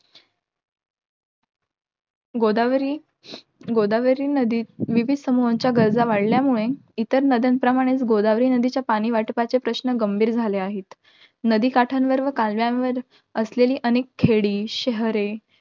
गोदावरी, गोदावरी नदीत विविधं समूहांच्या गरजा वाढल्यामुळे इतर नद्यांप्रमाणेच, गोदावरी नदीच्या पाणी वाटपाचे प्रश्न गंभीर झाले आहेत. नदी काठांवर व कालव्यांवर असलेली अनेक खेडी, शहरे